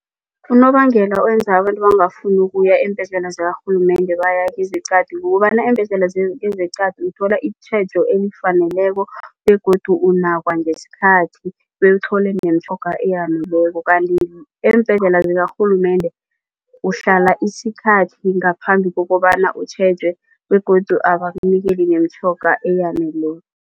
Unobangela wenza abantu bangafuni ukuya eembhedlela zakarhulumende baya kezeqadi kukobana eembhedlela kezeqadi uthola itjhejo elifaneleko begodu unakwa ngesikhathi bewuthole nemitjhoga eyaneleko kanti eembhedlela zikarhulumende uhlala isikhathi ngaphambi kokobana utjhetjwe begodu abakunikeli nemitjhoga eyaneleko.